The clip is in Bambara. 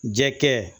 Jɛkɛ